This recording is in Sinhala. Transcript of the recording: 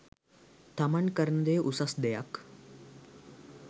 තමන් කරන දෙය උසස් දෙයක්